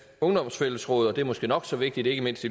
ungdoms fællesråd også og det er måske nok så vigtigt ikke mindst